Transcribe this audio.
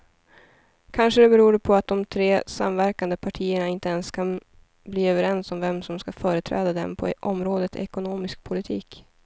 Kanske beror det på att de tre samverkande partierna inte ens kan bli överens om vem som ska företräda dem på området ekonomisk politik.